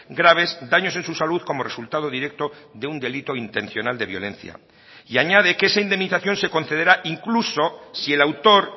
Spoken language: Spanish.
graves daños en su salud como resultado directo de un delito intencional de violencia y añade que esa indemnización se concederá incluso si el autor